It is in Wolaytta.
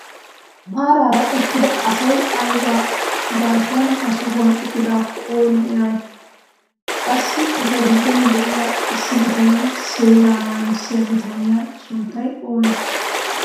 Maarara uttida asay ayba gaasuwaan ha sohuwaan uttidaakko oonee eriyay? qassi eta giddon de'iyaa issi biittee seeraa naggissiyaa bitaniyaa sunttay oonee?